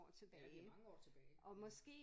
Ja det mange år tilbage ja